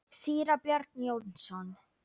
Síra Björn Jónsson